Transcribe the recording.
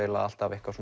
alltaf eitthvað